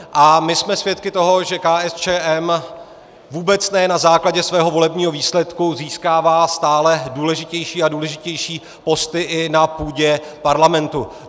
A my jsme svědky toho, že KSČM vůbec ne na základě svého volebního výsledku získává stále důležitější a důležitější posty i na půdě parlamentu.